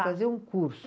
Fazer um curso.